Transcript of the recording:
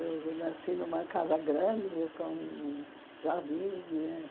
Eu nasci numa casa grande, com jardim.